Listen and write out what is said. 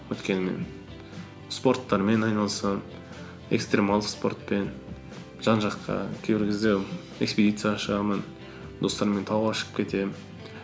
өйткені спорттармен айналысамын экстремалды спортпен жан жаққа кейбір кезде экспедицияға шығамын достармен тауға шығып кетемін